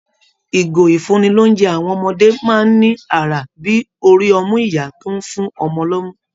Ìgò ìfúnni-lóunjẹ àwọn ọmọdé máa ń ní àrà bí i orí ọmú ìyá tó ń fún ọmọ lomu